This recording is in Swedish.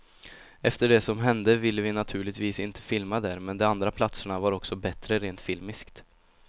Efter det som hände ville vi naturligtvis inte filma där, men de andra platserna var också bättre rent filmiskt.